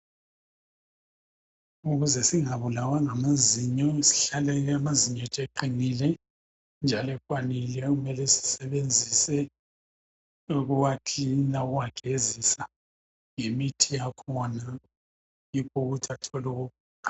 Ukuze singabulawa ngamazinyo sihlale amazinyo ethu eqinile njalo ekwanile kumele sisebenzise ukuwa cleana ukuwagezisa ngemithi yakhona yikho ukuthi athole ukuqina.